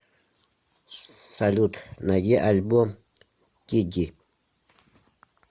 салют найди альбом диди